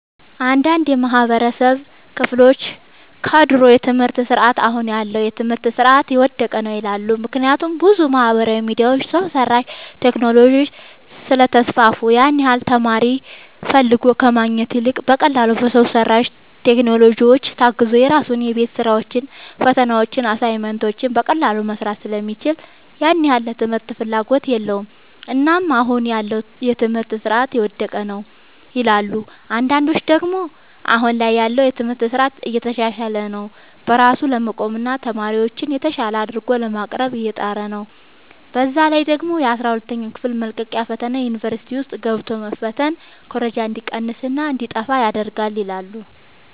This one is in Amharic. አንዳንድ የማህበረሰቡ ክፍሎች ከድሮ የትምህርት ስርዓት አሁን ያለው የትምህርት ስርዓት የወደቀ ነው ይላሉ። ምክንያቱም ብዙ ማህበራዊ ሚዲያዎች፣ ሰው ሰራሽ ቴክኖሎጂዎች ስለተስፋፉ ያን ያህል ተማሪ ፈልጎ ከማግኘት ይልቅ በቀላሉ በሰው ሰራሽ ቴክኖሎጂዎች ታግዞ የራሱን የቤት ስራዎችን፣ ፈተናዎችን፣ አሳይመንቶችን በቀላሉ መስራት ስለሚችል ያን ያህል ለትምህርት ፍላጎት የለውም። እናም አሁን ያለው የትምህርት ስርዓት የወደቀ ነው ይላሉ። አንዳንዶች ደግሞ አሁን ላይ ያለው የትምህርት ስርዓት እየተሻሻለ ነው። በራሱ ለመቆምና ተማሪዎችን የተሻለ አድርጎ ለማቅረብ እየጣረ ነው። በዛ ላይ ደግሞ የአስራ ሁለተኛ ክፍል መልቀቂያ ፈተና ዩኒቨርሲቲ ውስጥ ገብቶ መፈተን ኩረጃ እንዲቀንስና እንዲጣፋ ይረዳል ይላሉ።